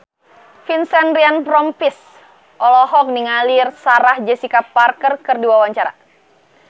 Vincent Ryan Rompies olohok ningali Sarah Jessica Parker keur diwawancara